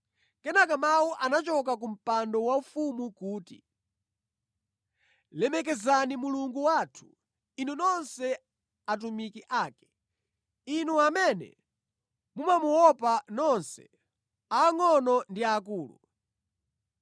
Kenaka mawu anachoka ku mpando waufumu kuti, “Lemekezani Mulungu wathu inu nonse atumiki ake, inu amene mumamuopa, nonse angʼono ndi akulu!”